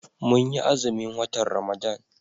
Mun yi azumin watan Ramadan.